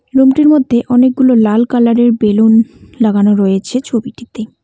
রুমটির মধ্যে অনেকগুলো লাল কালারের বেলুন লাগানো রয়েছে ছবিটিতে।